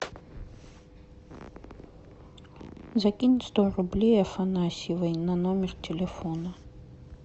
закинь сто рублей афанасьевой на номер телефона